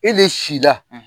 E de si la